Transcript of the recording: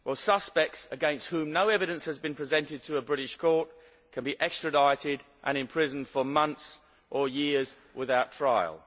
Suspects against whom no evidence has been presented to a British court can be extradited and imprisoned for months or years without trial.